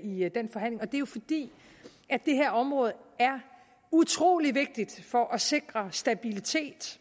i den forhandling og det var jo fordi det her område er utrolig vigtigt for at sikre stabilitet